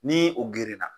Ni o gerenna